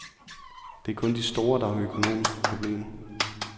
Det er kun de store, der har økonomiske problemer.